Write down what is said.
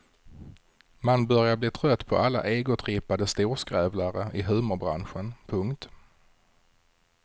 Man börjar bli trött på alla egotrippade storskrävlare i humorbranschen. punkt